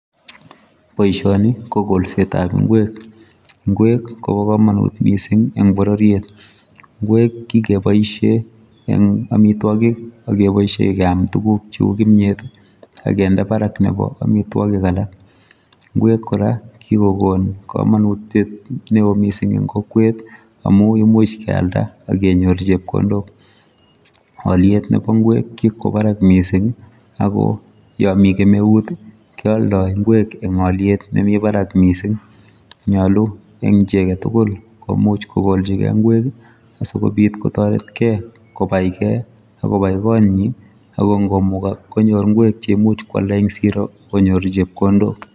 Boishoni ko kolsetab ingwek ingwek Kobo komonut missing en bororiet ingwek kikeboishen en omitwokik ak keboishen keam tukuk cheu kimiet tii ak kende barak nebo omitwokik alak. Ingwek koraa kikokon komonutyet neo missing en kokweet amun imuche kealda ak kenyor chepkondok, oliet nebo ingwek ko kikwo barak missing ako yomii kemeuti keoldi ingwek en oliet nemii barak missing, nyolu en chii aketukul komuch kokolchigee ingwek kii asikobit kotoregee kobai gee akobai konyin ako komukokse konyor ingwek cheimuch kwalda en Siro konyor chepkondok.